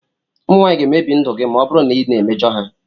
Ụmụ nwanyị ga-emebi ndụ gị ma ọ bụrụ na ị na-emejọ ha.